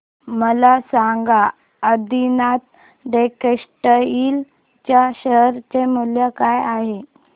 मला सांगा आदिनाथ टेक्स्टटाइल च्या शेअर चे मूल्य काय आहे